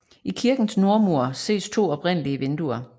I kirkens nordmur ses to oprindelige vinduer